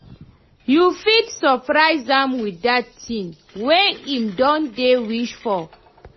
yu fit soprise am wit dat tin wey em don dey wish for